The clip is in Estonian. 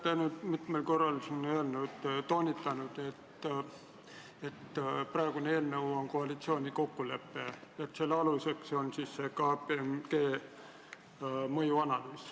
Te olete mitmel korral toonitanud, et praegune eelnõu on koalitsiooni kokkulepe, mille aluseks on KPMG mõjuanalüüs.